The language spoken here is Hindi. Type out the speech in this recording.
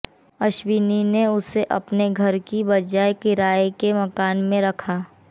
अश्वनी ने उसे अपने घर की बजाय किराए के मकान में रखा